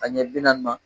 A ɲɛ bi naani ma